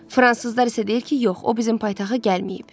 Fransızlar isə deyir ki, yox, o bizim paytaxta gəlməyib.